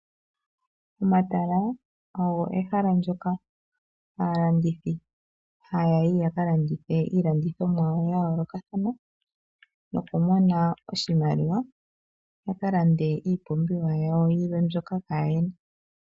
Omatala ogo ehala ndjoka aalandithi ha yayi ya ka landithe iilandithomwa yawo ya yoolokathana, nokumona oshimali ya ka lande iipumbiwa yawo yilwe mbyoka kaa ye na.